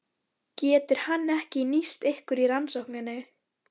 Getur hann ekki nýst ykkur í rannsókninni?